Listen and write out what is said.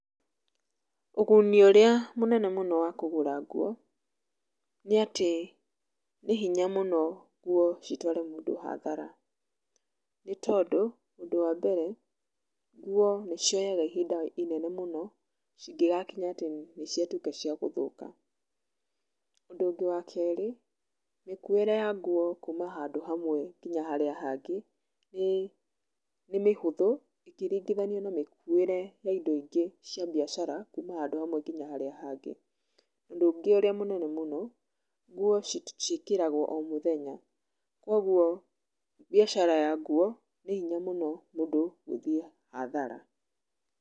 Ũguni ũrĩa mũnene mũno wa kũgũra nguo, nĩ atĩ nĩ hinya mũno nguo citware mũndũ hathara, nĩtondũ, ũndũ wambere, nguo nĩcioyaga ihinda inene mũno cingĩgakinya atĩ nĩciatuĩka ciagũthũka. Ũndũ ũngĩ wa kerĩ, mĩkuĩre ya nguo kuma handũ hamwe nginya harĩa hangĩ, nĩ mĩhũthũ, ĩkĩringithanio na mĩkuĩre ya indo ingĩ cia mbiacara, kuma handũ hamwe nginya harĩa hangĩ. Ũndũ ũngĩ ũrĩa mũnene mũno, nguo ciĩkĩragwo omũthenya, kwoguo mbiacara ya nguo, nĩ hinya mũno mũndũ gũthiĩ hathara.